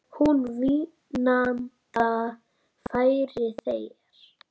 Hún vínanda færir þér.